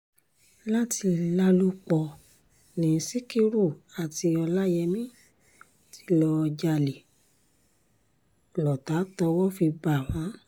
láti lálòpọ̀ ní sikiru àti ọláyémi tí lọ́ọ́ jalè lọ́tà tọ́wọ́ fi bá wọn